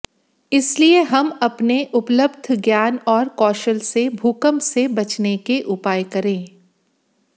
इसलिए हम अपने उपलब्ध ज्ञान और कौशल से भूकंप से बचने के उपाय करें